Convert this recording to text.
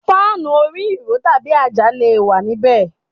Fáànù orí ìró tàbí àjà le wà níbẹ̀.